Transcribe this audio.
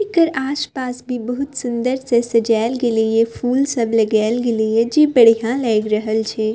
एकर आस-पास भी बहुत सुन्दर से सजायल गेले या फूल सब लगाएल गेले या जे बढ़िया लाग रहल छै।